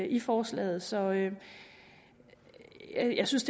i forslaget så jeg synes